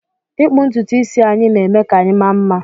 ịkpụ ntutu isi anyị na eme ka anyị maa mma